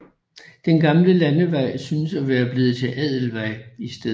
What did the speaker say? Den gamle landevej synes at være blevet til Adelvej i stedet